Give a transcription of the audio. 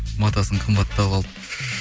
матасын қымбаттау алып